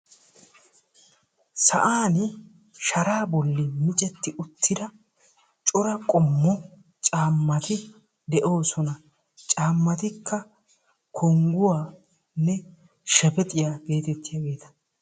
sa'aani sharaa boli micetti uttida cora qommo caammati de'oosona. caammatikka kongguwaanne shebexiya geetettiyaageeta.